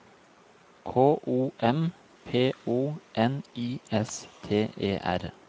K O M P O N I S T E R